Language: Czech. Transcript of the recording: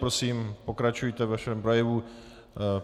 Prosím, pokračujte ve svém projevu.